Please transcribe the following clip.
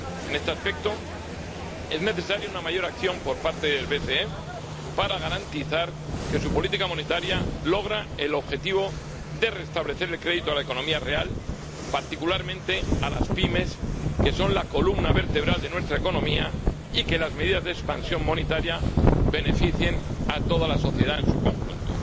En este aspecto, es necesaria una mayor acción por parte del BCE para garantizar que su política monetaria logra el objetivo de restablecer el crédito a la economía real, particularmente a las pymes, que son la columna vertebral de nuestra economía, y que las medidas de expansión monetaria beneficien a toda la sociedad en su conjunto.